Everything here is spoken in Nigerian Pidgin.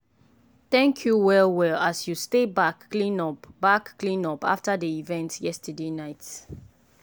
thank you well well as you stay back clean up back clean up after dey event yesterday night.